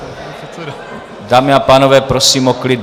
Dámy a pánové, prosím o klid.